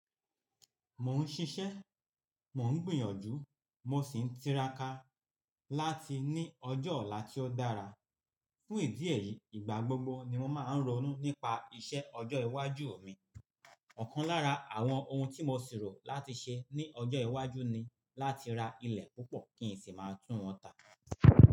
Mò ń ṣiṣẹ́, mò ń gbìyànjú, mo sì ń tiraka láti ní ọjọ́ ọ̀la tí ó dára. Fún ìdí èyí, ìgbà gbogbo ni mo máa ń ronú nípa iṣẹ́ ọjọ́ iwájú mi. Ọ̀kan lára àwọn ohun tí mo ṣèrò láti ṣe ní ọjọ́ iwájú ni láti ra ilẹ̀ púpọ̀ kí n sì máa tún wọn tà.